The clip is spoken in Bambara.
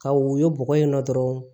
Ka woyo bɔgɔ in na dɔrɔn